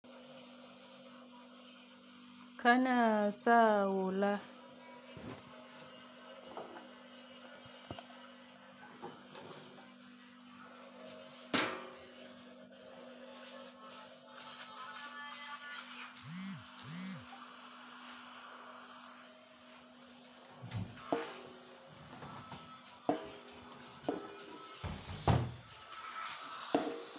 Kana sa hula.